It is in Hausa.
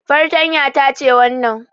Fartanya ta ce wannan